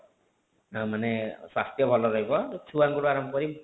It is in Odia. ମାନେ ସ୍ୱାସ୍ଥ୍ୟ ଭଲ ରହିବ ଯଉ ଛୁଆଙ୍କ ଠୁ ଆରମ୍ଭ କରି